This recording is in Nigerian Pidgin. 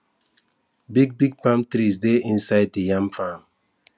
big big palm trees dey inside the yam farm